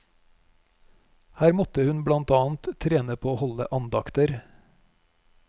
Her måtte hun blant annet trene på å holde andakter.